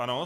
Ano.